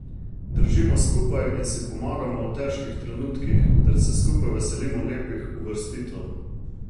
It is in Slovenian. Držimo skupaj in si pomagamo v težkih trenutkih ter se skupaj veselimo lepih uvrstitev.